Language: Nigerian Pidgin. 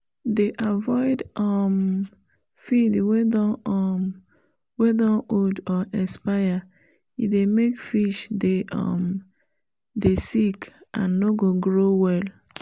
dey avoid um feed wey don um old or expire- e dey make fish dey um sick and no go grow well